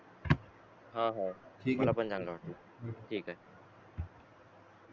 हहा मला पण चांगला वाटलं ठीके भेटू ठीके